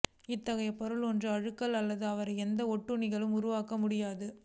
இத்தகைய பொருள் ஒன்று அழுகல் அல்லது அவரை எந்த ஒட்டுண்ணிகள் உருவாக்க முடியாது